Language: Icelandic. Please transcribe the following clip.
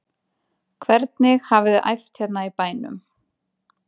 Hvernig hafiði æft hérna í bænum?